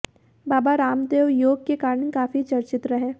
बाबा रामदेव योग के कारण काफी चर्चित रहे